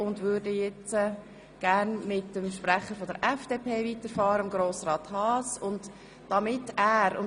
Wir möchten mit dem Sprecher der FDP, Grossrat Haas, fortfahren.